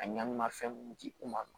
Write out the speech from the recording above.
A ɲani ma fɛn mun di u ma